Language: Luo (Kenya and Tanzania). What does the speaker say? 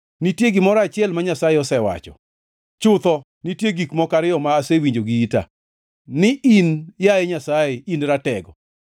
Nitie gimoro achiel ma Nyasaye osewacho, chutho nitie gik moko ariyo ma asewinjo gi ita: ni in, yaye Nyasaye, in ratego,